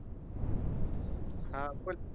हां बोल.